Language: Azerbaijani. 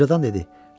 Ucadan dedi.